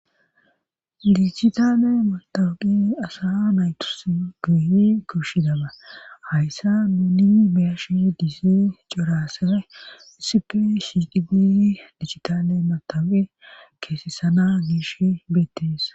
Dichitaane motoaqi asa naytus goyni korshi daba hayssa nuuni beyashi diisee coraasa isipi sddi diichitaane matape keesessana giish bettesa.